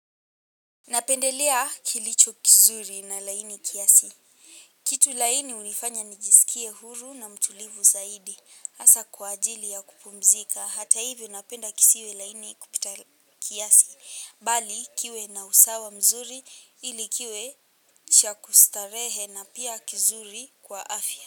Napendelea kilicho kizuri na laini kiasi. Kitu laini hunifanya nijisikie huru na mtulivu zaidi. Hasa kwa ajili ya kupumzika. Hata hivyo napenda kisiwe laini kupita kiasi. Bali kiwe na usawa mzuri ili kiwe cha kustarehe na pia kizuri kwa afya.